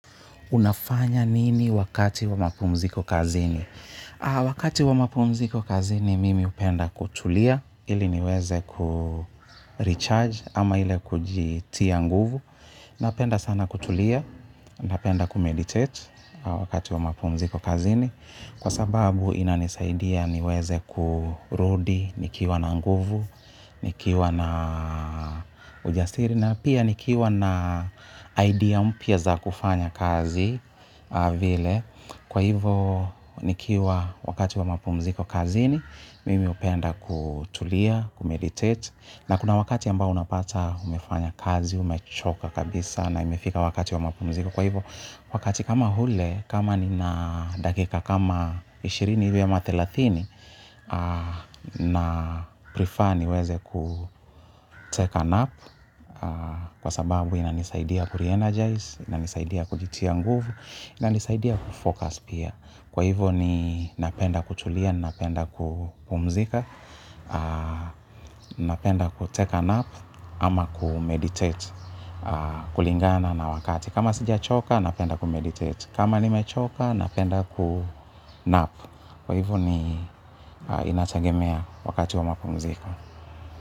Unafanya nini wakati wa mapumziko kazini? Wakati wa mapumziko kazini, mimi hupenda kutulia, ili niweze kurecharge, ama ile kujitia nguvu. Napenda sana kutulia, napenda kumeditate wakati wa mapumziko kazini. Kwa sababu, inanisaidia niweze kurudi, nikiwa na nguvu, nikiwa na ujasiri, na pia nikiwa na idea mpya za kufanya kazi vile, kwa hivo nikiwa wakati wa mapumziko kazi ni, mimi upenda kutulia, kumeditate, na kuna wakati ambao unapata umefanya kazi, umechoka kabisa na imefika wakati wa mapumziko. Kwa hivyo, wakati kama ule, kama ni na dakika kama ishirini hivi ama thelathini na prefer ni weze ku take a nap kwa sababu ina nisaidia ku re-energize, ina nisaidia kujitia nguvu, ina nisaidia kufocus pia. Kwa hivyo ni napenda kutulia, ninapenda kupumzika, napenda kutake a nap, ama kumeditate kulingana na wakati. Kama sija choka, napenda kumeditate. Kama ni mechoka, napenda kunap. Kwa hivyo ni inategemea wakati wa mapumziko.